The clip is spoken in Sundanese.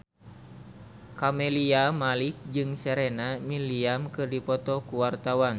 Camelia Malik jeung Serena Williams keur dipoto ku wartawan